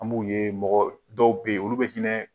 An b'u ye mɔgɔ dɔw bɛ ye olu bɛ hinɛ